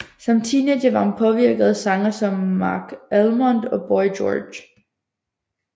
Som teenager var hun påvirket af sangere som Marc Almond og Boy George